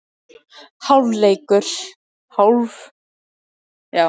Hálfleikur: Þá er hörku fyrri hálfleikur á enda og hver hefði trúað þessu??